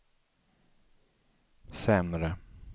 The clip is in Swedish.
sämre